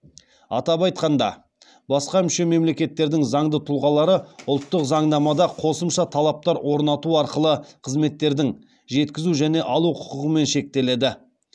атап айтқанда басқа мүше мемлекеттердің заңды тұлғалары ұлттық заңнамада қосымша талаптар орнату арқылы қызметтердің жеткізу және алу құқығымен шектеледі